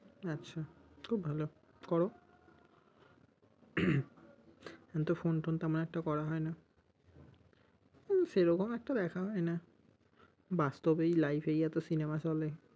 আচ্ছা খুব ভালো, করো। এখনতো phone টোন তেমন একটা করা হয়না। উহ সেরকম একটা দেখা হয় না, বাস্তবেই life এই এতো cinema চলে।